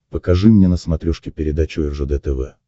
покажи мне на смотрешке передачу ржд тв